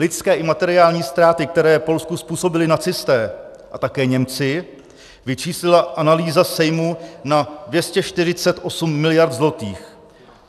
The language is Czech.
Lidské i materiální ztráty, které Polsku způsobili nacisté a také Němci, vyčíslila analýza Sejmu na 248 miliard zlotých.